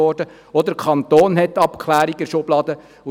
Auch der Kanton hat schon Abklärungen in der Schublade liegen.